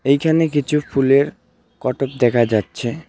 এইখানে কিছু ফুলের কটক দেখা যাচ্ছে .